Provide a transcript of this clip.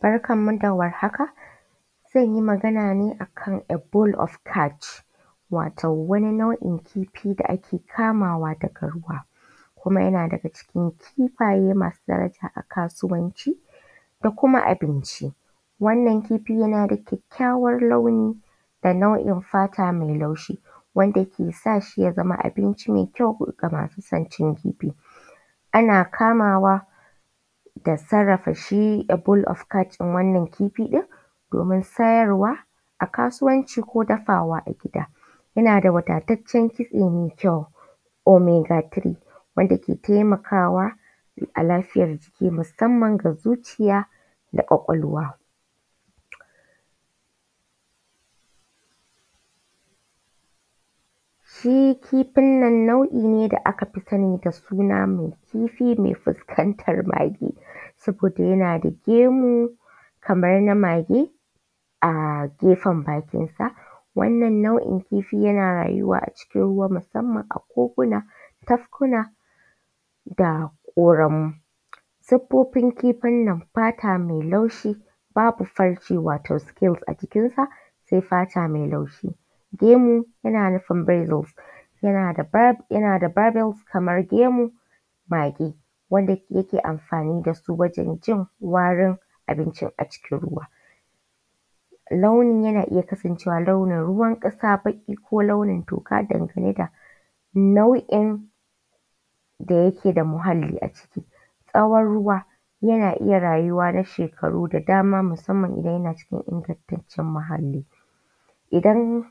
Barkanmu da warhaka zan yi magana ne akan a bull of catch wato wani nau'in kifi da ake kamawa daga ruwa kuma yana daga cikin kifaye masu daraja a kasuwanci da kima abinci. Wannan kifi yana da ƙyaƙƙyawar launi da nau'in fata mai laushi wanda ke sa shi ya zama abinci mai ƙyau ga masu sin cin kifi. Ana kamawa da sarrafa shi a bull of catch din wannan kifi ɗin domin sayarwa a kasuwanci ko dafawa a gida. Yana da wadataccen kitse mai ƙyau mai gatari wanda yake taimakwa a lafiya jiki musamman ga zuciya da kwakwalwa. Shi kifin nan nau'i ne da aka fi sani da mai suna da kifi mai fuskantar mage, saboda yana da gemu kamar na mage a gefen bakinsa. Wannan nau'in kifi yana rayuwa kuma yana fuskantar koguna da ƙoramai. Siffofin kifin nan fata mai laushi babu farce wata skills a jikinsa sai fata mai laushi. Gemu yana nufin visus yana da vadels kamar gemun baki wanda yake amfani da su wajen jin warin abinci a cikin ruwa. Launin yan aiya kasancewa blaunin ruwankasa baki ko launin toka dangane da nau'in da yake da muhalli a ciki. Tsawon ruwa ba ya iya rayuwa na shekaru da dama musamman idan yancikin ingantaccen muhalli. Idan